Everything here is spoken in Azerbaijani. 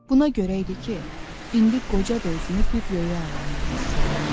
Buna görə idi ki, indi qoca da özünü bir röya aləmində hiss eləyirdi.